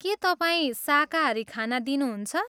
के तपाईँ शाकाहारी खाना दिनुहुन्छ?